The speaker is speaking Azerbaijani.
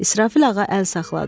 İsrafil ağa əl saxladı.